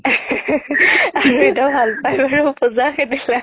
দেউতাইও ভাল পাই আৰু